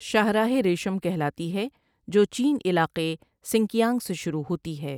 شاہراہ رشم کہلاتی ہے جو چین علاقے سنکیانگ سے شروع ہوتی ہے ۔